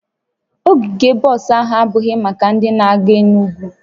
Ogige bọs ahụ abụghị maka ndị na-aga Enugwu